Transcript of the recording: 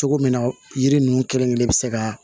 Cogo min na yiri nunnu kelen kelen be se ka